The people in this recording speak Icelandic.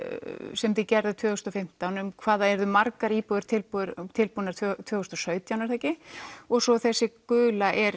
sem þið gerðuð tvö þúsund og fimmtán um hvað það yrðu margar íbúðir tilbúnar tilbúnar tvö þúsund og sautján er það ekki og svo þessi gula er